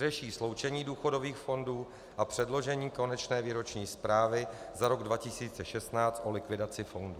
Řeší sloučení důchodových fondů a předložení konečné výroční zprávy za rok 2016 o likvidaci fondů.